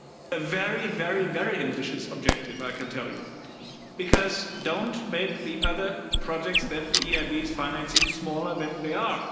A very, very, very ambitious objective I can tell you because don't make the other projects that the EIB is financing smaller than they are.